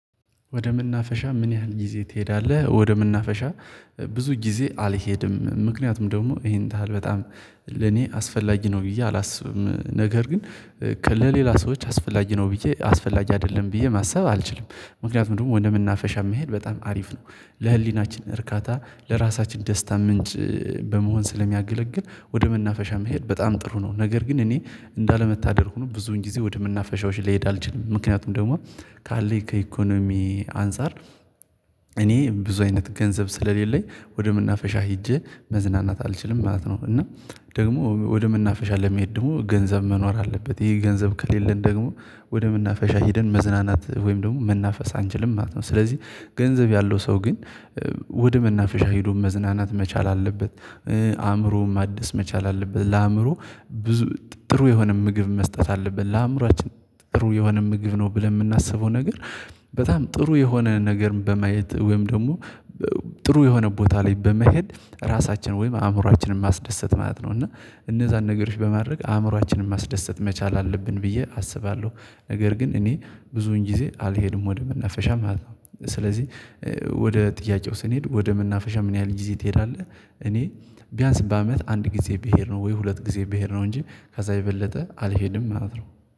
ወደ መናፈሻ ምን ያህል ጊዜ ትሄዳለህ? ወደ መናፈሻ ብዙ ጊዜ አልሄድም ምክንያቱም ደግሞ ይሄን ታህል በጣም ለኔ አስፈላጊ ነው ብዬ አላስብም ነገር ግን ለሌላ ሰዎች አስፈላጊ ነው ብዬ አስፈላጊ አይደለም ብዬ ማሰብ አልችልም። ምክንያቱም ደግሞ ወደመናፈሻም መሄድ በጣም አሪፍ ነው ለህሊናችን እርካታ ለራሳችን ደስታ ምንጭ በመሆን ስለሚያገለግል ወደ መናፈሻ መሄድ በጣም ጥሩ ነው። ነገር ግን እኔ እንዳለመታደል ሆኖ ብዙን ጊዜ ወደምናፈሻዎች ልሄድ አልችልም ምክንያቱም ደግሞ ካለኝ ከኢኮኖሚ አንፃር እኔ ብዙ አይነት ገንዘብ ስለሌለኝ ወደ መናፈሻ ሄጄ መዝናናት አልችልም ማለት ነው። እና ደግሞ ወደ መናፈሻ ለመሄድ ደግሞ ገንዘብ መኖር አለበት ይሄ ገንዘብ ከሌለን ደግሞ ወደ መናፈሻ ሄደን መዝናናት ወይም ደግሞ መናፈስ አንችልም ማለት ነው። ስለዚህ ገንዘብ ያለው ሰው ግን ወደ መናፈሻ ሄዶ መዝናናት መቻል አለበት። አእምሮም ማደስ መቻል አለበት። ለአእምሮ ብዙ ጥሩ የሆነ ምግብ መስጠት አለብን ለአእምሮአችን ጥሩ የሆነ ምግብ ነው ብለን የምናስበው ነገር በጣም ጥሩ የሆነ ነገር በማየት ወይም ደግሞ ጥሩ የሆነ ቦታ ላይ በመሄድ ራሳችን ወይም አእምሮአችንን ማስደሰት ማለት ነው። እና እነዛን ነገሮች በማድረግ አእምሮአችንን ማስደሰት መቻል አለብን ብዬ አስባለሁ። ነገር ግን እኔ ብዙን ጊዜ አልሄድም ወደ መናፈሻ ማለት ነው። ስለዚህ ወደ ጥያቄው ስንሄድ ወደ መናፈሻ ምን ያህል ጊዜ ትሄዳለህ? እኔ ቢያንስ በአመት አንድ ጊዜ ብሄድ ነው ወይ ሁለት ጊዜ ብሄድ ነው እንጂ ከዛ የበለጠ አልሄድም ነው ምለው